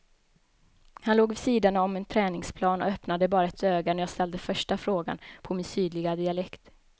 Han låg vid sidan om en träningsplan och öppnade bara ett öga när jag ställde första frågan på min sydliga dialekt.